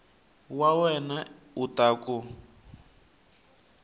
wa wena u ta ku